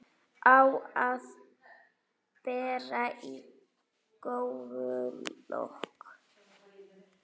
Á að bera í góulok.